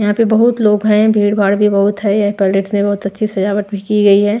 यहां पे बहुत लोग हैं भीड़-भाड़ भी बहुत है य पैलेट्स ने बहुत अच्छी सजावट भी की गई है।